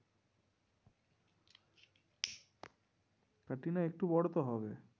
ক্যাটরিনা একটু বড়ো তো হবে।